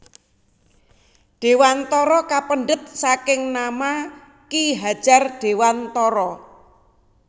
Dewantara kapendhet saking nama Ki Hadjar Dewantara